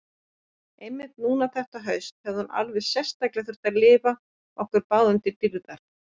Einmitt núna þetta haust hefði hún alveg sérstaklega þurft að lifa okkur báðum til dýrðar.